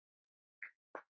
Ljóð: Árni úr Eyjum